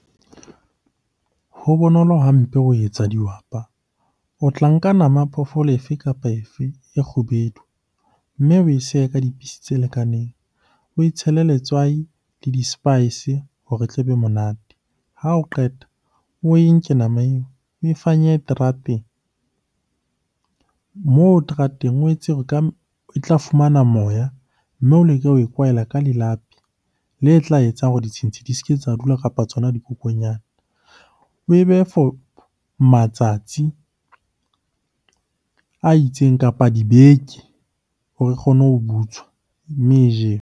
Ho bonolo hampe ho etsa dihwapa. O tla nka nama phoofolo efe kapa efe e kgubedu, mme oe sehe ka di-piecetse lekaneng. Oe tshele letswai le di-spice hore e tlebe monate. Ha o qeta, oe nke nama oe e fanyehe terateng. Moo terateng, o etse e tla fumana moya, mme o leke ho e kwaela ka lelapi le tla etsang hore ditshintshi di se ke tsa dula, kapa tsona dikokonyana. Oe behe for matsatsi a itseng, kapa dibeke hore e kgone ho butswa, mme e jewe.